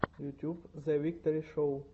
ютьюб зэвикторишоу